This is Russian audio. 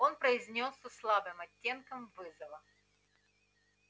он произнёс со слабым оттенком вызова